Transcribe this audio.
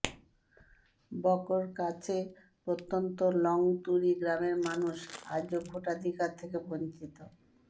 বকোর কাছে প্ৰত্যন্ত লংতুরি গ্ৰামের মানুষ আজও ভোটাধিকার থেকে বঞ্চিত